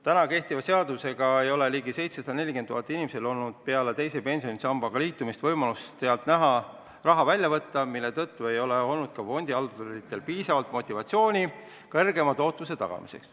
Praegu kehtiva seaduse alusel ei ole ligi 740 000 inimesel olnud peale teise pensionisambaga liitumist võimalust sealt raha välja võtta ja seetõttu ei ole fondihalduritel olnud piisavalt motivatsiooni kõrgema tootluse tagamiseks.